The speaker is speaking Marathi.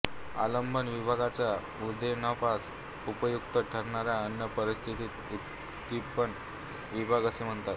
आलंबन विभावाच्या उद्दीपनास उपयुक्त ठरणाऱ्या अन्य परिस्थितीस उद्दीपन विभाव असे म्हणतात